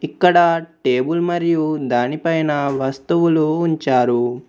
ఇక్కడ టేబుల్ మరియు దానిపైన వస్తువులు ఉంచారు.